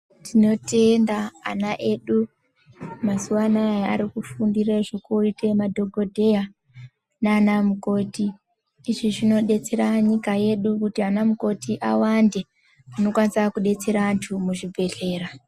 Tino tenda ana edu kuti mazuva anaya arikufundire zveku ite ma dhokoteya nana mukoti izvi zvino betsera nyika yedu kuti ana mukoti awande anokwanisa kubatsira antu muzvi bhedhlera.